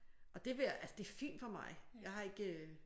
Og det vil jeg altså det fint for mig jeg har ikke